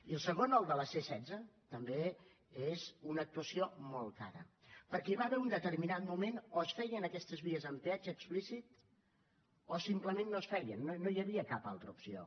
i el segon el de la c setze també és una actuació molt cara perquè hi va haver un determinat moment que o es feien aquestes vies amb peatge explícit o simplement no es feien no hi havia cap altra opció